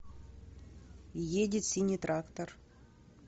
едет синий трактор